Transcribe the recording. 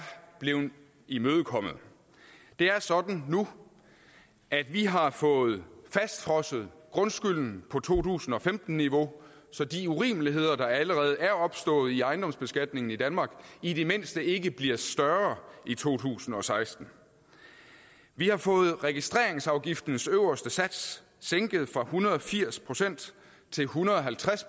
blevet imødekommet det er sådan nu at vi har fået fastfrosset grundskylden på to tusind og femten niveau så de urimeligheder der allerede er opstået i ejendomsbeskatningen i danmark i det mindste ikke bliver større i to tusind og seksten vi har fået registreringsafgiftens øverste sats sænket fra en hundrede og firs procent til en hundrede og halvtreds